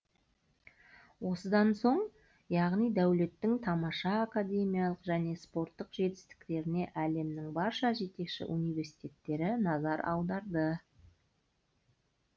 осыдан соң яғни дәулеттің тамаша академиялық және спорттық жетістіктеріне әлемнің барша жетекші университеттері назар аударды